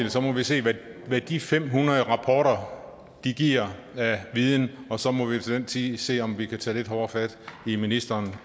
og så må vi se hvad de fem hundrede rapporter giver af viden og så må vi til den tid se om vi kan tage lidt hårdere fat i ministeren